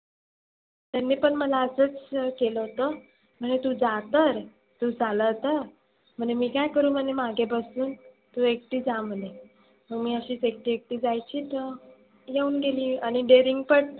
त्यांनी पण मला असच केलं होतं. म्हणे तु जा तर, तु चालव तर, म्हणे मी काय करु मागे बसून तु एकटी जा म्हणे. मग मी अशीच एकटी एकटी जायची तर येऊन गेली आणि dearing पण